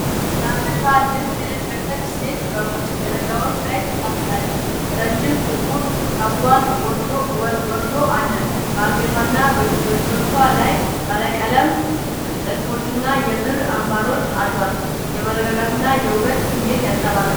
ባህላዊ ነጭ የሐበሻ ልብስ የለበሰች ሴት በውጭ ደረጃዎች ላይ ተቀምጣለች። ረዥም ጥቁር ፀጉሯ ወርዶ አለ፣ በአንገቷና በእጆቿ ላይ ባለቀለም ጥልፎችና የብር አምባሮች አሏት። የመረጋጋትና የውበት ስሜት ያንጸባርቃል።